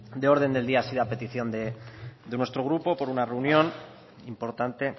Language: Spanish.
de orden del día ha sido a petición de nuestro grupo por una reunión importante